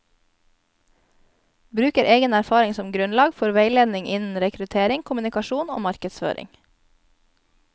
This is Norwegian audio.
Bruker egen erfaring som grunnlag for veiledning innen rekruttering, kommunikasjon og markedføring.